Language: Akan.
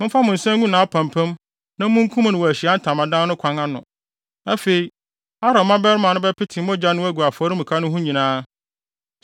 momfa mo nsa ngu nʼapampam na munkum no wɔ Ahyiae Ntamadan no kwan ano. Afei, Aaron mmabarima no bɛpete mogya no agu afɔremuka no ho nyinaa.